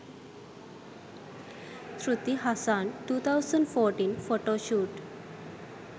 shruti hassan 2014 photoshoot